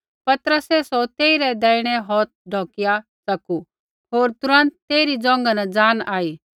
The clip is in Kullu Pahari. पतरसै सौ तेइरै दैहिणै हौथ ढौकिया च़कू होर तुरन्त तेइरी ज़ोंघा न ज़ान आई